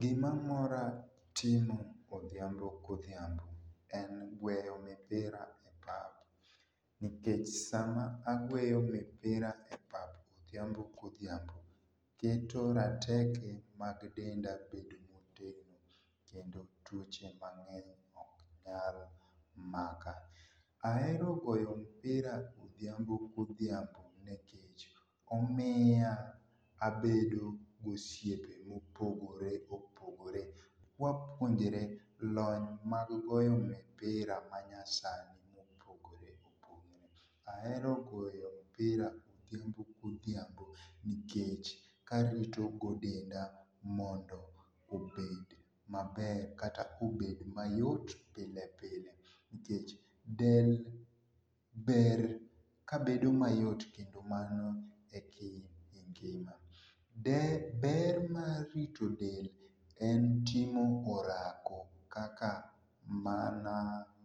Gimamora timo odhiambo kodhiambo en gweyo mpira mar nikech sama agweyo mipirae pap odhiambo kodhiambo keto rateke mag denda bedo ma otegno kendo tuoche mang'eny oknyal maka, aero goyo mipira odhiambo ka odhiambo nikech omiya abedo gosiepe ma opogore opogore kwapuonjore lony mar goyo mpira manyasani ma opogore opogore aero goyo mpira godhiambo nikech karitogo denda nikech mondo obed maber kata obed mayot pile pile nikech del ber kabedo mayot kendo mano ekingima, ber mar rito del en timo orako kaka mana